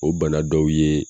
O bana dɔw ye